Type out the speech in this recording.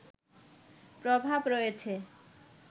প্রভাব রয়েছে